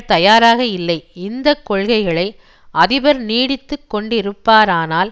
தயாராக இல்லை இந்த கொள்கைகளை அதிபர் நீடித்துக்கொண்டிருப்பாரானால்